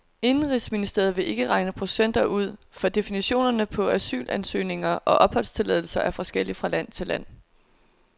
Indenrigsministeriet vil ikke regne procenter ud, for definitionerne på asylansøgninger og opholdstilladelser er forskellig fra land til land.